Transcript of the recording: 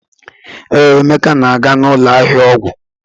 Ee, Emeka na-aga n'ụlọ ahịa ọgwụ.